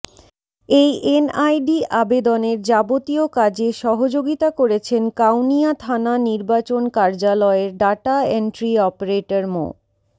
এই এনআইডি আবেদনের যাবতীয় কাজে সহযোগিতা করেছেন কাউনিয়া থানা নির্বাচন কার্যালয়ের ডাটা এন্ট্রি অপারেটর মো